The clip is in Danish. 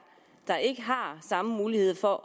der ikke har samme muligheder